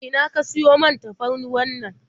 A ina ka siyo man tafarnuwannan?